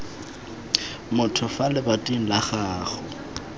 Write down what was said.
motho fa lebating la gago